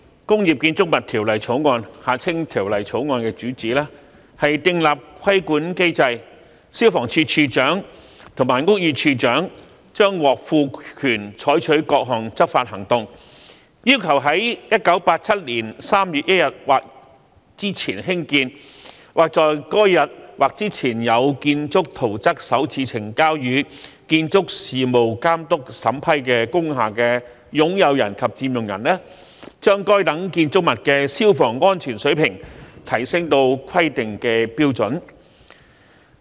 代理主席，《消防安全條例草案》的主旨是定立規管機制，消防處處長及屋宇署署長將獲賦權採取各項執法行動，要求在1987年3月1日或之前興建，或在該日或之前有建築圖則首次呈交予建築事務監督審批工廈的擁有人及佔用人，把該等建築物的消防安全水平提升至規定的標準。